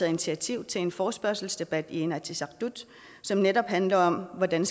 initiativ til en forespørgselsdebat i inatsisartut som netop handler om hvordan